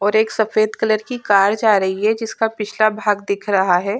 और एक सफ़ेद कलर की कार जा रही है जिसका पिछला भाग दिख रहा है।